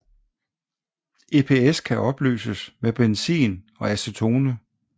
EPS kan opløses med benzin og acetone